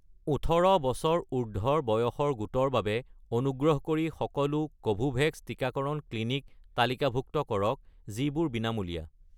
১৮ বছৰ উৰ্ধ্বৰ বয়সৰ গোটৰ বাবে অনুগ্ৰহ কৰি সকলো কোভোভেক্স টিকাকৰণ ক্লিনিক তালিকাভুক্ত কৰক যিবোৰ বিনামূলীয়া